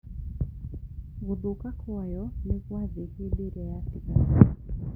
Gũthũka kwayo nĩ gwathĩ hĩndĩ ĩrĩa yatigara